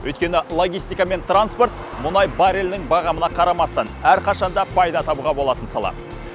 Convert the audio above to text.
өйткені логистика мен транспорт мұнай баррелінің бағамына қарамастан әрқашанда пайда табуға болатын сала